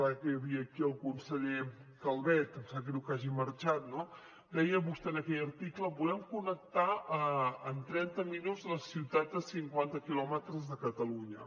ara que hi havia aquí el conseller calvet em sap greu que hagi marxat no deia vostè en aquell article volem connectar en trenta minuts les ciutats a cinquanta quilòmetres de barcelona